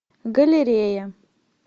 галерея